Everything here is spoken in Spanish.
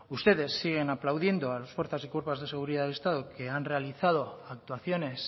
ustedes siguen aplaudiendo a las fuerzas y cuerpos de seguridad del estado que han realizado actuaciones